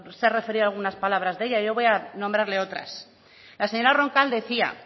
se ha referido a algunas palabras de ella yo voy a nombrarle otras la señora roncal decía